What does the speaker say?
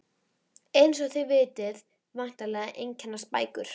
Eins og þið vitið væntanlega einkennast bækur